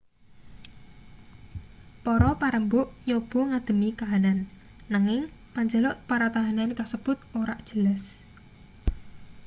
para parembug nyoba ngadhemi kahanan nanging panjaluk para tahanan kasebut ora jelas